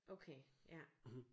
Okay ja